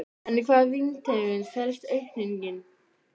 En í hvaða víntegund felst aukningin?